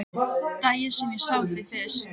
Daginn sem ég sá þig fyrst.